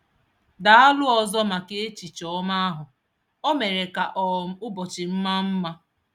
Daalụ ọzọ maka echiche ọma ahụ, o mere ka um ụbọchị m maa mma.